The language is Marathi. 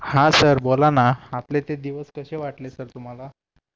हा सर बोला ना आपले ते दिवस कसे वाटले सर तुम्हाला